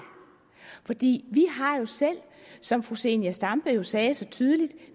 fordi vi har jo selv som fru zenia stampe sagde så tydeligt